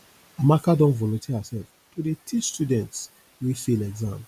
amaka don volunteer hersef to dey teach students wey fail exam